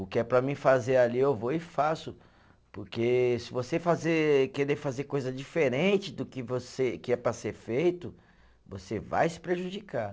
O que é para mim fazer ali eu vou e faço, porque se você fazer, querer fazer coisa diferente do que você, que é para ser feito, você vai se prejudicar.